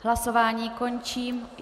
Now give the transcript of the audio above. Hlasování končím.